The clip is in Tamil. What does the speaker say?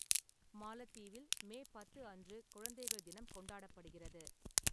மாலத்தீவில் மே பத்து அன்று குழந்தைகள் தினம் கொண்டாடப்படுகிறது.